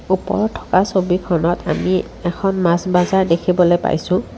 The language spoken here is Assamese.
ওপৰত থকা ছবিখনত আমি এখন মাছ বাজাৰ দেখিবলৈ পাইছোঁ।